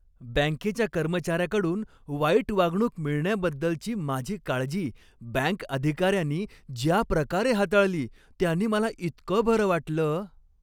बँकेच्या कर्मचाऱ्याकडून वाईट वागणूक मिळण्याबद्दलची माझी काळजी बँक अधिकाऱ्यानी ज्या प्रकारे हाताळली त्यानी मला इतकं बरं वाटलं.